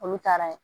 Olu taara ye